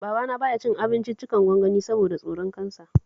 Babana ba ya cin abincin gwangwani saboda tsoron Cancer